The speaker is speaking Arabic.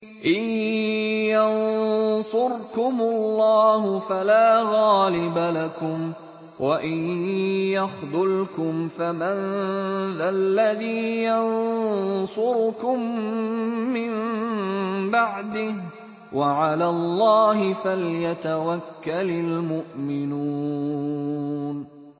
إِن يَنصُرْكُمُ اللَّهُ فَلَا غَالِبَ لَكُمْ ۖ وَإِن يَخْذُلْكُمْ فَمَن ذَا الَّذِي يَنصُرُكُم مِّن بَعْدِهِ ۗ وَعَلَى اللَّهِ فَلْيَتَوَكَّلِ الْمُؤْمِنُونَ